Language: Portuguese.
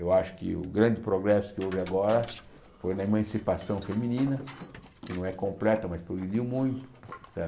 Eu acho que o grande progresso que houve agora foi na emancipação feminina, que não é completa, mas progrediu muito.